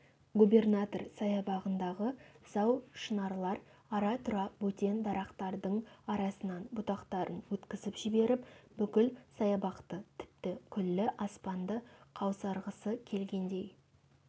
губернатор саябағындағы зау шынарлар ара-тұра бөтен дарақтардың арасынан бұтақтарын өткізіп жіберіп бүкіл саябақты тіпті күллі аспанды қаусырғысы келгендей